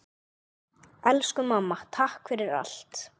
Elsku mamma. takk fyrir allt.